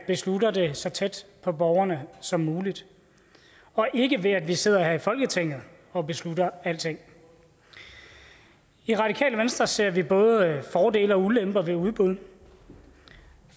beslutter det så tæt på borgerne som muligt og ikke ved at vi sidder her i folketinget og beslutter alting i radikale venstre ser vi både fordele og ulemper ved udbud